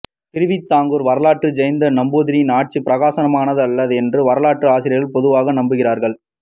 திருவிதாங்கூர் வரலாற்றில் ஜெயந்தன் நம்பூதிரியின் ஆட்சி பிரகாசமானதல்ல என்றும் வரலாற்றாசிரியர்கள் பொதுவாக நம்புகிறார்கள்